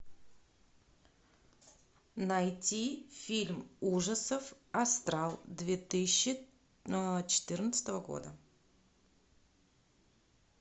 найти фильм ужасов астрал две тысячи четырнадцатого года